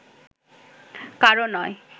কারও নয়